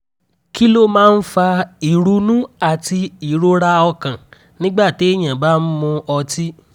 kí ló máa ń fa ìrunú àti ìrora ọkàn nígbà téèyàn bá ń mu ọtí?